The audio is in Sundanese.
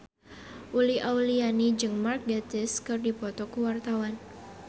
Uli Auliani jeung Mark Gatiss keur dipoto ku wartawan